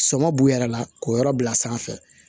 Sɔmɔ b'u yɛrɛ la k'o yɔrɔ bila sanfɛ